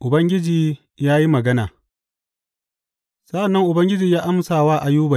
Ubangiji ya yi magana Sa’an nan Ubangiji ya amsa wa Ayuba.